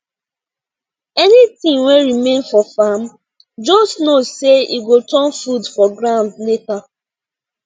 anything wey remain for farm just know say e go turn food for ground later